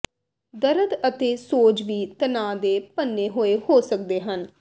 ਦਰਦ ਅਤੇ ਸੋਜ ਵੀ ਤਨਾਅ ਦੇ ਭੰਨੇ ਹੋਏ ਹੋ ਸਕਦੇ ਹਨ